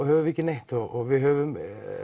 höfum við ekki neitt og við höfum